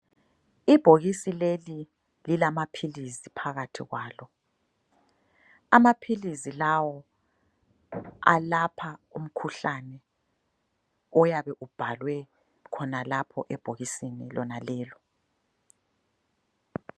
Ibhokisi leli lilamaphilizi phakathi kwalo. Amaphilizi lawo alapha umkhuhlane oyabe ubhalwe khonalapho ebhokisini lonalelo.